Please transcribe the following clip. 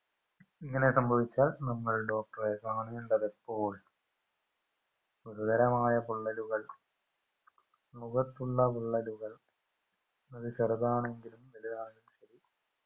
ഇങ്ങനെ സംഭവിച്ചാൽ നമ്മൾ doctor റെ കാണേണ്ടതെപ്പോൾ ഗുരുതരമായ പൊള്ളലുകൾ മുഖത്തുള്ളപൊള്ളലുകൾ അത് ചെറുതാണെങ്കിലും വലുതാണെങ്കിലും ശരി